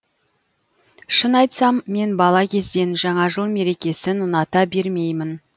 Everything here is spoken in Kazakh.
шын айтсам мен бала кезден жаңа жыл мерекесін ұната бермеймін